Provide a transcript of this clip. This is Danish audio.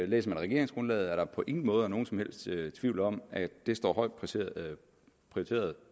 læser man regeringsgrundlaget at der på ingen måde er nogen som helst tvivl om at det står højt prioriteret